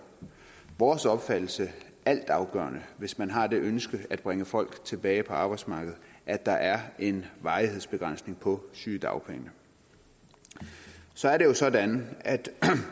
vores opfattelse altafgørende hvis man har det ønske at bringe folk tilbage på arbejdsmarkedet at der er en varighedsbegrænsning på sygedagpenge så er det jo sådan at